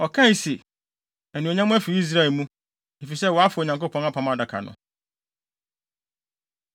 Ɔkae se, “Anuonyam afi Israel mu, efisɛ wɔafa Onyankopɔn Apam Adaka no.”